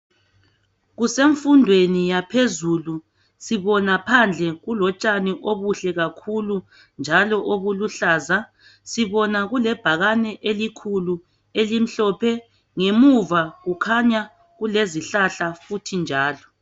Kusemfundweni yaphezulu, sibona phandle kulotshani obuhle kakhulu njalo obuluhlaza. Sibona kulebhakane elikhulu elimhlophe, ngemuva kukhanya kulezihlahla futhi njalo